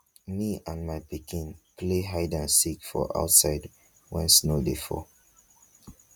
me and my pikin play hide and seek for outside wen snow dey fall